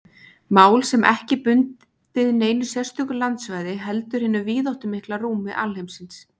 Mál sem ekki er bundið neinu sérstöku landsvæði heldur hinu víðáttumikla rúmi alheimsins.